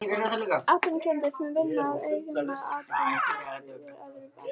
Atvinnurekendum sem vinna að eigin atvinnurekstri í öðrum atvinnugreinum.